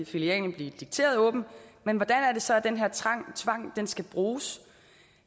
filialen blive dikteret åben men hvordan er det så den her tvang skal bruges